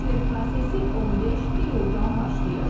Transfer prosesi 15 iyuldan başlayır.